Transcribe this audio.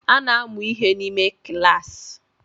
A na-amụ ihe n’ime kilas